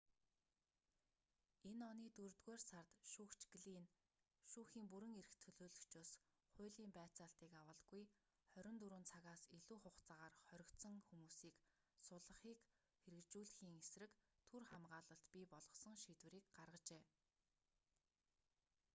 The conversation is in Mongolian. энэ оны дөрөвдүгээр сард шүүгч глинн шүүхийн бүрэн эрхт төлөөлөгчөөс хуулийн байцаалтыг авалгүй 24 цагаас илүү хугацаагаар хоригдсон хүмүүсийг суллахыг хэрэгжүүлэхийн эсрэг түр хамгаалалт бий болгосон шийдвэрийг гаргажээ